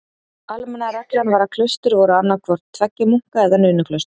Almenna reglan var að klaustur voru annað tveggja munka- eða nunnuklaustur.